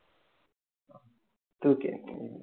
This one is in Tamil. தூக்கி